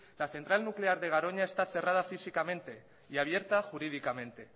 la central nuclear de garoña está cerrada físicamente y abierta jurídicamente